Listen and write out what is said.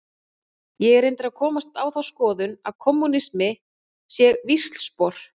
Ég er reyndar að komast á þá skoðun að kommúnisminn sé víxlspor.